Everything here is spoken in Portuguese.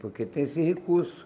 Porque tem esse recurso.